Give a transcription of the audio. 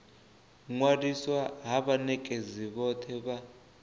ṅwaliswa ha vhanekedzi vhothe vha